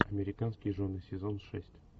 американские жены сезон шесть